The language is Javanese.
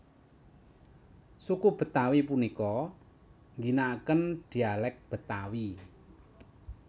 Suku Betawi punika ngginaken dialék Betawi